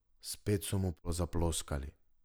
Spet so mu zaploskali.